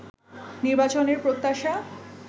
নির্বাচনের প্রত্যাশা